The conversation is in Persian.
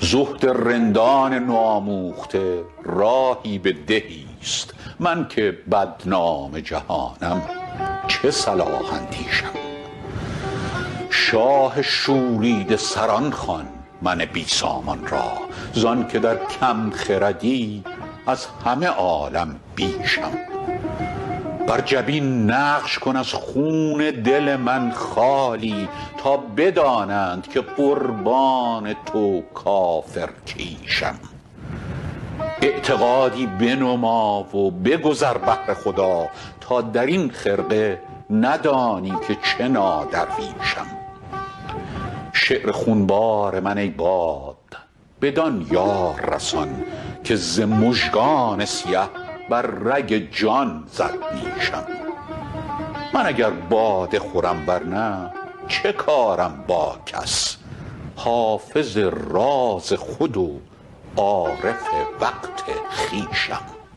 زهد رندان نوآموخته راهی به دهیست من که بدنام جهانم چه صلاح اندیشم شاه شوریده سران خوان من بی سامان را زان که در کم خردی از همه عالم بیشم بر جبین نقش کن از خون دل من خالی تا بدانند که قربان تو کافرکیشم اعتقادی بنما و بگذر بهر خدا تا در این خرقه ندانی که چه نادرویشم شعر خونبار من ای باد بدان یار رسان که ز مژگان سیه بر رگ جان زد نیشم من اگر باده خورم ور نه چه کارم با کس حافظ راز خود و عارف وقت خویشم